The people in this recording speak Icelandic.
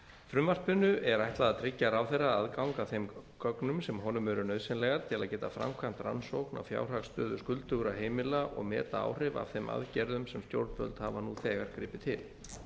frumvarpinu er ætlað að tryggja ráðherra aðgang að þeim gögnum sem honum eru nauðsynlegar til að geta framkvæmt rannsókn á fjárhagsstöðu skuldugra heimila og meta áhrif af þeim aðgerðum sem stjórnvöld hafa nú þegar gripið til